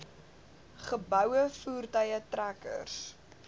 geboue voertuie trekkers